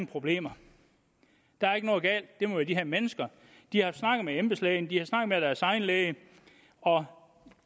problemer der er ikke noget galt det må være de her mennesker de har snakket med embedslægen de har snakket med deres egen læge og